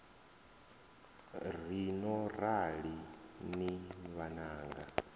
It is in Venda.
ri no rali ni vhananga